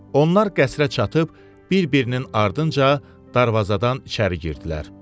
Onlar qəsrə çatıb, bir-birinin ardınca darvazadan içəri girdilər.